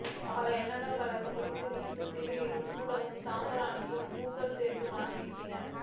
பல எண்ணைகள் கலந்து மடித்த வீச்சமும் திருநீறும் சூடமும் சாம்பிராணியும் பூக்களும் சேர்த்த மணமும் வீசின